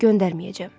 Göndərməyəcəm.